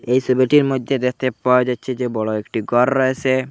এই ছবিটির মইধ্যে দেখতে পাওয়া যাচ্ছে যে বড় একটি ঘর রয়েছে।